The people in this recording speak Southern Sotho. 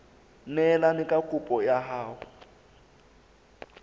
neelane ka kopo ya hao